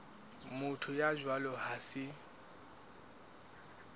motho ya jwalo ha se